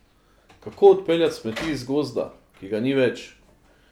Kako odpeljati smeti iz gozda, ki ga ni več?